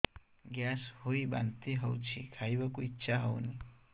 gas ହୋଇ ବାନ୍ତି ହଉଛି ଖାଇବାକୁ ଇଚ୍ଛା ହଉନି